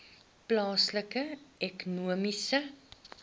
plaaslike ekonomiese